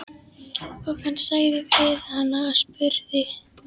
Og hann sagði við hana og spurði: